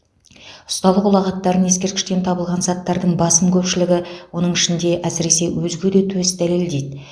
ұсталық ұлағаттарын ескерткіштен табылған заттардың басым көпшілігі оның ішінде әсіресе өзге де төс дәлелдейді